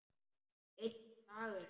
Einn dagur!